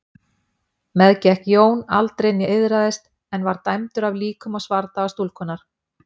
Meðgekk Jón aldrei né iðraðist en var dæmdur af líkum og svardaga stúlkunnar.